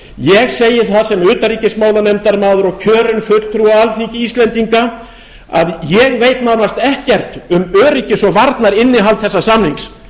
ég segi það sem utanríkismálanefndarmaður og kjörinn fulltrúi alþingis íslendinga að ég veit nánast ekkert um öryggis og varnarinnihald þessa samnings